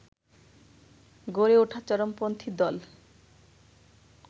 গড়ে ওঠা চরমপন্থী দল